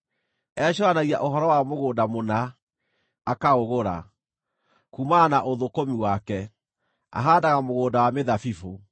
Ecũũranagia ũhoro wa mũgũnda mũna, akaũgũra; kuumana na ũthũkũmi wake, ahaandaga mũgũnda wa mĩthabibũ.